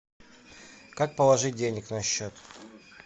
как положить денег на счет